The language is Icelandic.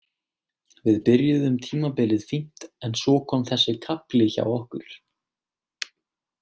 Við byrjuðum tímabilið fínt en svo kom þessi kafli hjá okkur.